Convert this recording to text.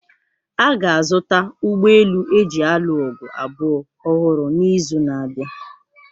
A ga-azụta ụgbọ elu eji alụ ọgụ abụọ ọhụrụ n'izu na-abịa.